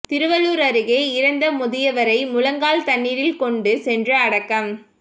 திருவள்ளூர் அருகே இறந்த முதியவரை முழங்கால் தண்ணீரில் கொண்டு சென்று அடக்கம்